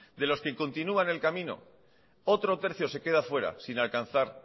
de los que continúan en el camino otro tercio se queda fuera sin alcanzar